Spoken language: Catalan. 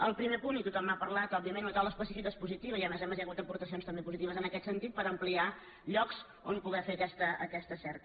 al primer punt i tothom n’ha parlat òbviament una taula específica és positiva i a més a més hi ha hagut aportacions també positives en aquest sentit per ampliar llocs on poder fer aquesta cerca